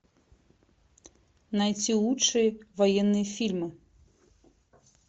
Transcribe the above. найти лучшие военные фильмы